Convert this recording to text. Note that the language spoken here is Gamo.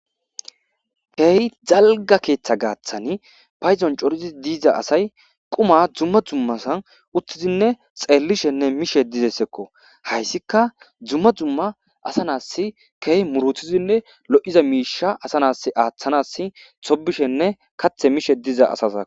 Kehi dalga ketha gathani paydon coridi diza asay quma duma duma so uttidine xelishene mishe dizaysako hasika duma duma asa nasi kehi muritidine lo'iza mishe asa nas athana tobishne mishe diza asako